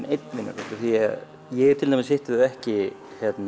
einn vinur af því að ég til dæmis hitti þau ekki